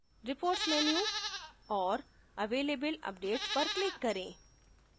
reports menu और available updates पर click करें